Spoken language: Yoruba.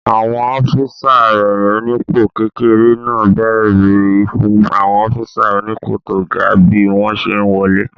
Àwọn ọ́físà rẹ̀ onípò kékeré náà bẹ́rí fún àwọn ọ́físà onípò tó ga bí wọ́n ṣe n wọlé